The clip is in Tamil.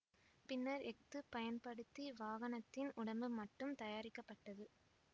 பின்னர் எஃகு பயன்படுத்தி வாகனத்தின் உடம்பு மட்டும் தயாரிக்கப்பட்டது